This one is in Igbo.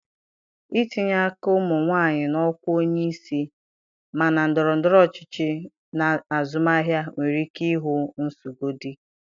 Ntinye aka ụmụ nwanyị na ọkwa onye isi, ma na ndọrọ ndọrọ ọchịchị na azụmahịa, nwere ike ihu nguzogide